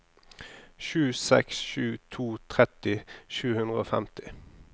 sju seks sju to tretti sju hundre og femti